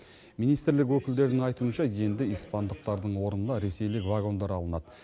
министрлік өкілдерінің айтуынша енді испандықтардың орнына ресейлік вагондар алынады